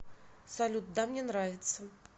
салют да мне нравится